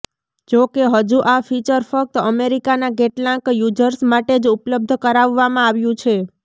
જો કે હજુ આ ફિચર ફક્ત અમેરિકાના કેટલાંક યુઝર્સ માટે જ ઉપલબ્ધ કરાવવામાં આવ્યું છે